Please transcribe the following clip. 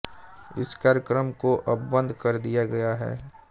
इस कार्यक्रम को अब बंद कर दिया गया है